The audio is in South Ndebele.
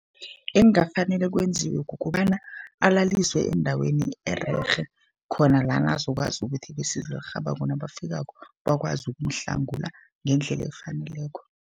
Ekungafanele kwenziwe kukobana alaliswe endaweni ererhe, khona lana azokwazi ukuthi besizo elirhabako nabafikako bakwazi ukumhlangula ngendlela efaneleko.